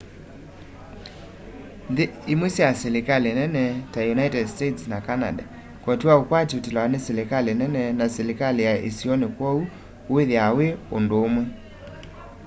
nthi imwe sya silikali nini ta united states na canada koti wa ukwati utilawa ni silikali nene na silikali ya isioni kwoou uthiaa wi undu umwe